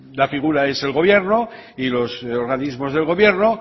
la figura es el gobierno y los organismos del gobierno